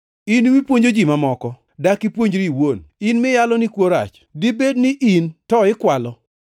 In mipuonjo ji mamoko, dak ipuonjri iwuon? In miyalo ni kuo rach, dibed in to ikwala?